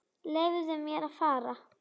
Leyfðu mér að fara.